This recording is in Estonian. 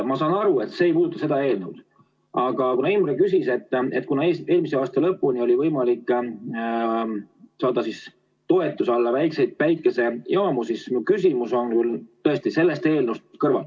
Ma saan aru, et see ei puuduta seda eelnõu, aga kuna eelmise aasta lõpuni oli võimalik saada toetuse alla väikseid päikesejaamu, siis mu küsimus on tõesti sellest eelnõust kõrval.